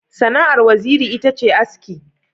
Sana'ar Waziri ita ce aski.